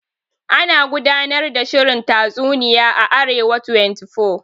Ana gudanar da shirin tatsuniya a Arewa 24.